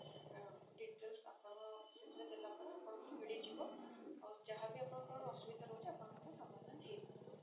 ଆଁ details ଆପଣ ସେଥିରେ ଦେଲା ପରେ ଆପଣଙ୍କୁ ମିଳି ଯିବ ଆଉ ଯାହା ବି ଆପଣଙ୍କ ଅସୁବିଧା ରହୁଛି ଆପଣଙ୍କର ସମାଧାନ ହେଇପାରିବ।